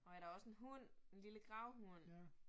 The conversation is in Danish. Nåh ja, der også en hund. En lille gravhund